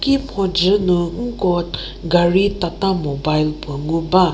ki mhodzü nu nko gari tata mobile puo ngu ba.